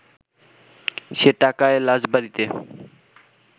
সে টাকায় লাশ বাড়িতে